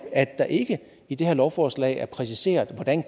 at der ikke i det her lovforslag er præciseret hvordan